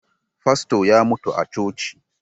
Fasto ya mutu a coci